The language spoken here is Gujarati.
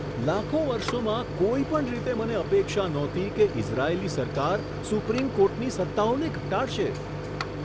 લાખો વર્ષોમાં કોઈ પણ રીતે મને અપેક્ષા નહોતી કે ઇઝરાયેલી સરકાર સુપ્રીમ કોર્ટની સત્તાઓને ઘટાડશે.